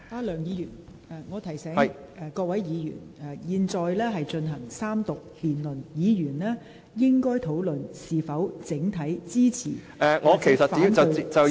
梁議員，我提醒你和各位議員，本會現正進行三讀辯論，議員應討論在整體上是否支持條例草案。